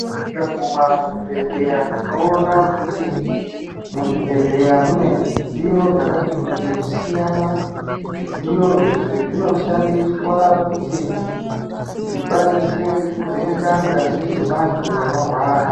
Tikaguma muzvibhendleya tinoona kuti muzvibhedhleya mune zvidziyo zvakati kuti kusiyana. Zvidziyo izvi zvinoshandiswa kuti zvikwanise kuvheneka ngazi dzevantu vanorwara.